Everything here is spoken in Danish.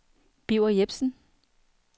Birger Jepsen